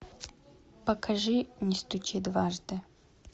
покажи не стучи дважды